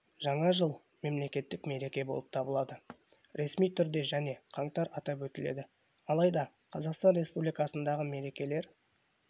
жаңа жыл мемлекеттік мереке болып табылады ресми түрде және қаңтар атап өтіледі алайда қазақстан республикасындағы мерекелер